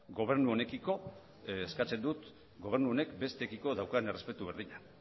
gobernu honekiko eskatzen dut gobernu honek besteekiko daukan errespetu berdina